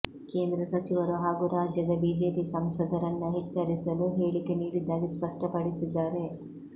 ಕೇಂದ್ರ ಸಚಿವರು ಹಾಗೂ ರಾಜ್ಯದ ಬಿಜೆಪಿ ಸಂಸದರನ್ನ ಎಚ್ಚರಿಸಲು ಹೇಳಿಕೆ ನೀಡಿದ್ದಾಗಿ ಸ್ಪಷ್ಟಪಡಿಸಿದ್ದಾರೆ